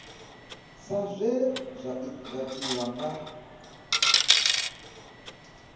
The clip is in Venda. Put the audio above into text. sa zwe zwa tiwa nga